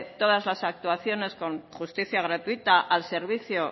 todas las actuaciones con justicia gratuita al servicio